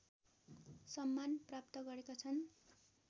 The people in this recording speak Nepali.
सम्मान प्राप्त गरेका छन्